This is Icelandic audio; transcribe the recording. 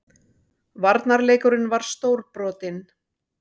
Varnarleikurinn var stórbrotinn